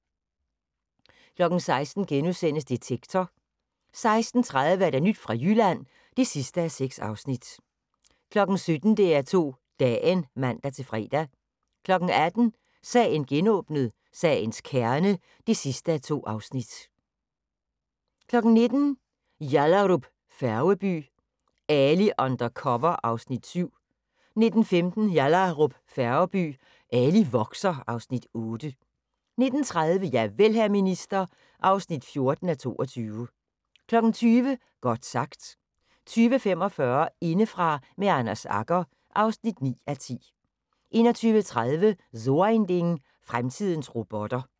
16:00: Detektor * 16:30: Nyt fra Jylland (6:6) 17:00: DR2 Dagen (man-fre) 18:00: Sagen genåbnet: Sagens kerne (2:2) 19:00: Yallahrup Færgeby: Ali under cover (Afs. 7) 19:15: Yallahrup Færgeby: Ali vokser (Afs. 8) 19:30: Javel, hr. minister (14:22) 20:00: Godt sagt 20:45: Indefra med Anders Agger (9:10) 21:30: So ein Ding: Fremtidens robotter